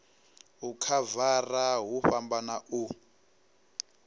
u khavara hu fhambana u